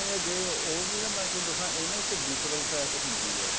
ਜੇ ਉਹ ਵੀ ਮੈਂ ਤੁਹਾਨੂੰ ਇਹ ਨਾ ਇੱਕ fat ਹੁੰਦੀ ਹੈ